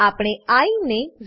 આપણે આઇ ને 0